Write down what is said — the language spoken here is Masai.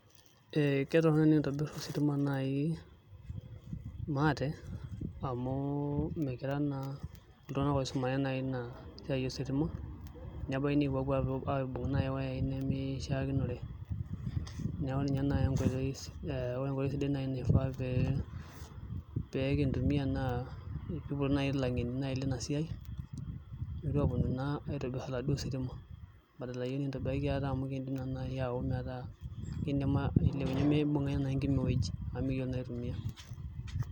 Ee ketorono tenekintobir ositima nai maate amu mikira naa iltungana oisumare nai ina siae ositima nebaiki nikipu nai aibung iyuyayi nai nimishaikinore neeku ninye nai enkoitoi aa ore nai enkoitoi naifaa pee pee kitumiya naa peipoti nai ilangeni Lina siae metu aaponu naa aitobira aladuo sitima badala yiok nikintobir ate amu kiindim nai ayawu naa metaa kindim ailepunyie mipunga enkima ewueji amu mikiyielo naa aitumiya.